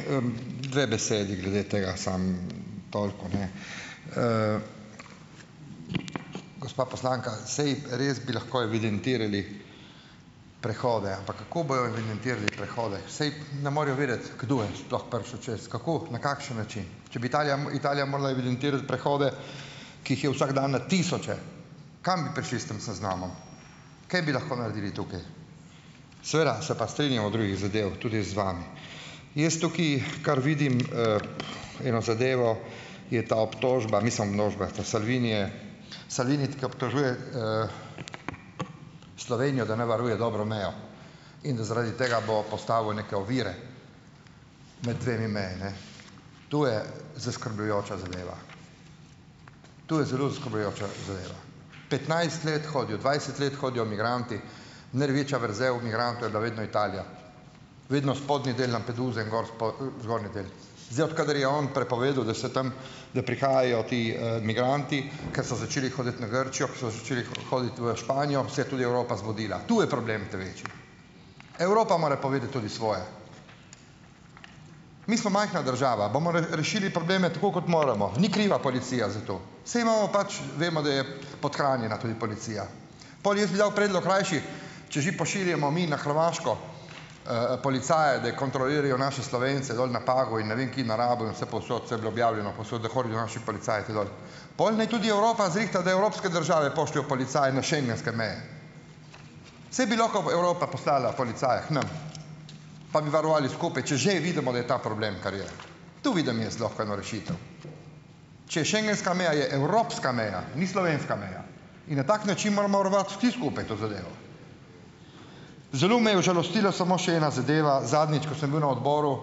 dve besedi glede tega samo toliko, ne, gospa poslanka, saj res bi lahko evidentirali prehode, ampak kako bojo evidentirali prehode, saj ne morejo vedeti, kdo je sploh prišel čez, kako, na kakšen način, če bi Italija Italija morala evidentirati prehode, ki jih je vsak dan na tisoče, kam bi prišli s tem seznamom, kaj bi lahko naredili tukaj, seveda se pa strinjam o drugih zadevah tudi z vami, jaz tukaj, kar vidim, eno zadevo, je ta obtožba, mislim, množba to Salvini, ke obtožuje, Slovenijo, da ne varuje dobro mejo in da zaradi tega bo postavil neke ovire med dvema mejama, ne, to je zaskrbljujoča zadeva, to je zelo zaskrbljujoča zadeva, petnajst let hodijo, dvajset let hodijo migranti, največja vrzel migrantov je bila vedno Italija, vedno spodnji del Lampeduse in in gor zgornji del, zdaj, od kadar je on prepovedal, da se tam, da prihajajo ti, migranti, ke so začeli hoditi na Grčijo, ke so začeli hoditi v Španijo, se je tudi Evropa zbudila, to je problem ta večji, Evropa mora povedati tudi svoje. Mi smo majhna država, bomo rešili probleme tako, kot moramo, ni kriva policija za to, saj imamo pač, vemo, da je podhranjena tudi policija, pol jaz bi dal v predlog rajši, če že pošiljamo mi na Hrvaško, policaje, da kontrolirajo naše Slovence dol na Pagu in ne vem kje na Rabu, vsepovsod, saj je bilo objavljeno povsod, da hodijo naši policaji te dol, pol naj tudi Evropa zrihta, da evropske države pošljejo policaje na schengenske meje, saj bi lahko Evropa poslala policaje k nam pa bi varovali skupaj, če že vidimo, da je ta problem, ker je tu bi dal jaz lahko eno rešitev, če schengenska meja je evropska meja, ni slovenska meja in na tak način moramo varovati vsi skupaj to zadevo. Zelo me je užalostilo le še ena zadeva zadnjič, ko sem bil na odboru,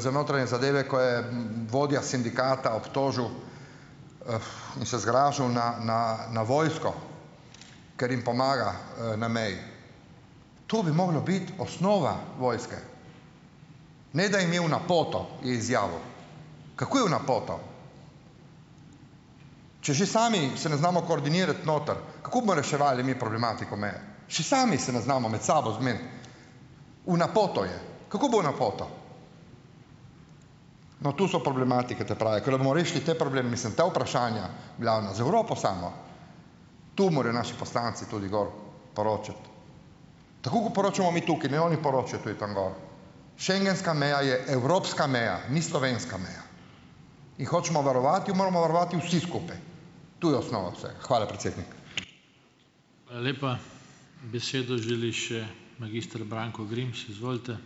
za notranje zadeve, ko je vodja sindikata obtožil, in se zgražal na na na vojsko, ker jim pomaga, na meji, to bi moglo biti osnova vojske, ne da jim je v napoto izjavil, kako je v napoto, če že sami se ne znamo koordinirati noter, kako bomo reševali mi problematiko meje, še sami se ne znamo med sabo zmeniti, v napoto je, kako bo v napoto, no, tu so problematike ta prave, ko bomo rešili ta problem, mislim, ta vprašanja, v glavnem z Evropo, samo tu morajo naši poslanci tudi gor poročati, tako kot poročamo mi tukaj, ne, oni poročajo tudi tam gor, schengenska meja je evropska meja, ni slovenska meja, jo hočemo varovati, jo moramo varovati vsi skupaj, tu je osnova vseh, hvala, predsednik. Hvala lepa, besedo želi še minister Branko Grims, izvolite.